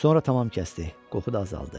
Sonra tamam kəsdi, qoxu da azaldı.